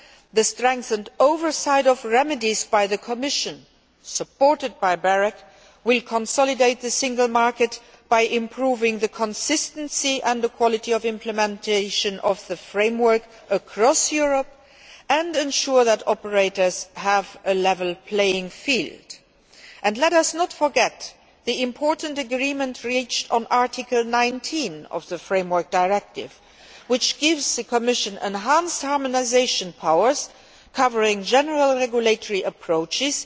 The strengthened oversight of remedies by the Commission, supported by BEREC, will consolidate the single market by improving the consistency and the quality of implementation of the framework across Europe and ensure that operators have a level playing field. Let us not forget the important agreement reached on Article 19 of the framework directive, which gives the Commission enhanced harmonisation powers covering general regulatory approaches,